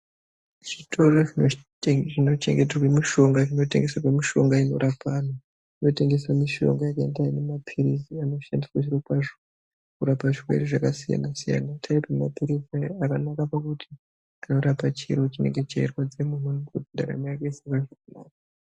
Zvitoro zvinotengeserwe mishonga inorape vanhu zvinotengese mishonga yakaite semaphirizi anoshandiswa zviro kwazvo kurape zvirwere zvakasiyana siyana. Taipi yemaphirizi aya yakanaka pakuti inorape chiro chinenge cheirwadza ndaramo yoenderera mberi.